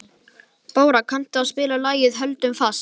Bára, kanntu að spila lagið „Höldum fast“?